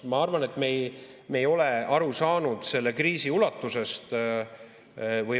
Ma arvan, et me ei ole aru saanud selle kriisi ulatusest.